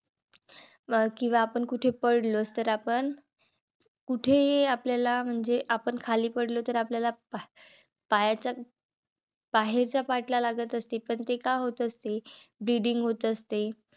अं किंवा आपण कुठे पडलोच, तर आपण कुठेही आपल्याला म्हणजे आपण खाली पडलो तर आपल्याला पायाच्या बाहेरच्या Part ला लागत असते. पण ते का होत असते. bleeding होत असते.